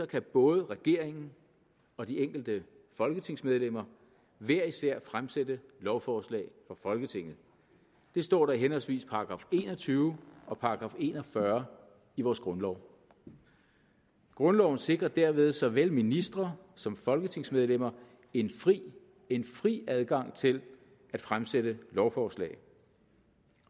kan både regeringen og de enkelte folketingsmedlemmer hver især fremsætte lovforslag for folketinget det står der i henholdsvis § en og tyve og § en og fyrre i vores grundlov grundloven sikrer derved såvel ministre som folketingsmedlemmer en fri en fri adgang til at fremsætte lovforslag